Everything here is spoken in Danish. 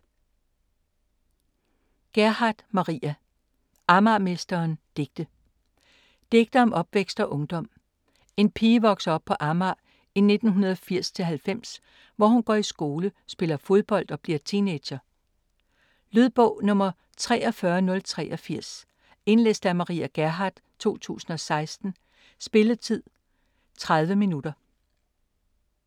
Gerhardt, Maria: Amagermesteren: digte Digte om opvækst og ungdom. En pige vokser op på Amager i 1980-90, hvor hun går i skole, spiller fodbold og bliver teenager. Lydbog 43083 Indlæst af Maria Gerhardt, 2016. Spilletid: 0 timer, 30 minutter.